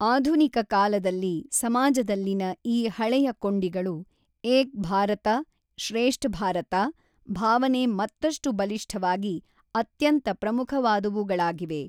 ಆಧುನಿಕ ಕಾಲದಲ್ಲಿ ಸಮಾಜದಲ್ಲಿನ ಈ ಹಳೆಯ ಕೊಂಡಿಗಳು, ಏಕ್ ಭಾರತ ಶ್ರೇಷ್ಠ್ ಭಾರತ ಭಾವನೆ ಮತ್ತಷ್ಟು ಬಲಿಷ್ಠವಾಗಿ ಅತ್ಯಂತ ಪ್ರಮುಖವಾದವುಗಳಾಗಿವೆ.